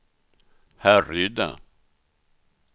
Härryda